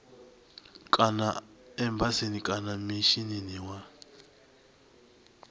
kana embasini kana mishinini wa